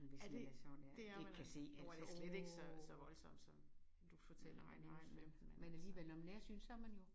Ja det det er man altså og slet ikke så så voldsomt som du fortæller om nej men men altså